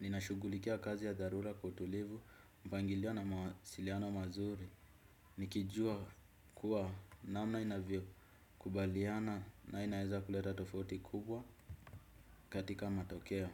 ninashugulikia kazi ya dharula kwa utulivu mpangilio na mawasiliano mazuri. Nikijua kuwa namna inavyo kubaliana na inaeza kuleta tofauti kubwa katika matokeo.